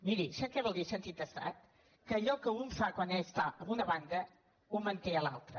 miri sap què vol dir sentit d’estat que allò que un fa quan està en una banda ho manté a l’altra